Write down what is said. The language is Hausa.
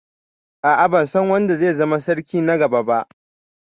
A'a, ban san wanda zai zama sarki na gaba ba.